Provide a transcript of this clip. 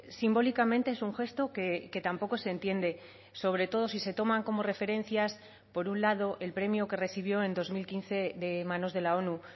simbólicamente es un gesto que tampoco se entiende sobre todo si se toman como referencias por un lado el premio que recibió en dos mil quince de manos de la onu